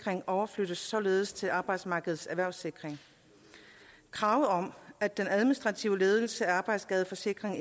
overflyttes således til arbejdsmarkedets erhvervssikring kravet om at den administrative ledelse af arbejdsskadeforsikring